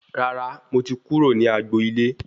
Rárá, mo ti kúrò ní agbo ilé